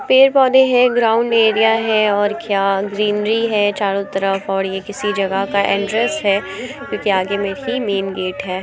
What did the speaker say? पेड़-पौधे हैं। Ground area है और क्या ग्रीनरी है। चारों तरफ और ये किसी जगह का एंट्रेंस है क्योंकि आगे में ही मैन गेट हैं।